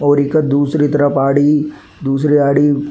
और इक दूसरी तरफ आड़ी दूसरी आड़ी --